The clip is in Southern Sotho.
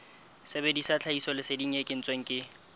sebedisa tlhahisoleseding e kentsweng ke